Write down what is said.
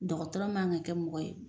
Dɔgɔtɔrɔ man ka kɛ mɔgɔ ye